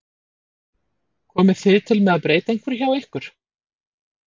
Komið þið til með að breyta einhverju hjá ykkur?